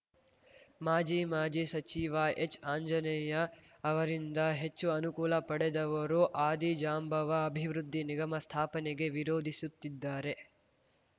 ಮಾಜಿ ಮಾಜಿ ಸಚಿವ ಹೆಚ್‌ಆಂಜನೇಯ ಅವರಿಂದ ಹೆಚ್ಚು ಅನುಕೂಲ ಪಡೆದವರು ಆದಿಜಾಂಬವ ಅಭಿವೃದ್ಧಿ ನಿಗಮ ಸ್ಥಾಪನೆಗೆ ವಿರೋಧಿಸುತ್ತಿದ್ದಾರೆ